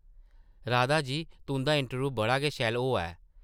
राधा जी, तुंʼदा इंटरव्यूह् बड़ा गै शैल होआ ऐ ।